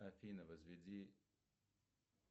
афина возведи